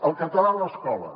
el català a l’escola